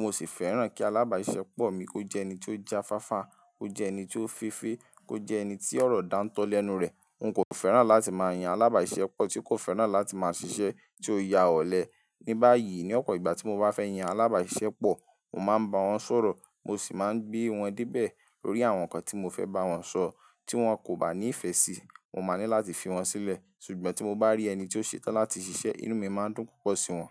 Mo sì fẹ́ràn kí alábàáṣiṣẹ́pọ̀ mi kó jẹ́ ẹni tó jáfáfá, kó jẹ́ ẹni tó fefé, kó jẹ́ ẹni tí ọ̀rọ̀ dáńtọ́ lẹ́nu rẹ̀. Nkò fẹ́ràn láti máa yan alábàáṣiṣẹ́pọ̀ tí kò fẹ́ràn láti máa ṣiṣẹ́ tí ó yá ọ̀lẹ. Ní báyìí, ní ọ̀pọ̀ ìgbà tí mo bá fẹ́ yan alábàáṣiṣẹ́pọ̀, mò máa ń ba wọ́n sọ̀rọ̀, mo sì máa ń gbé wọn débẹ̀ lórí àwọn nǹkan tí mo fẹ́ bá wọn sọ, tí wọ́n kò bá ní ìfẹ́ sí i, mo máa ní láti fi wọ́n sílẹ̀. Ṣùgbọ́n tí mo bá rí ẹni tí ó ṣetán láti ṣiṣẹ́, inú mi máa ń dùn púpọ̀ sí wọ́n.